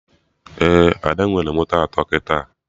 Ee, Ada nwere moto atọ kịta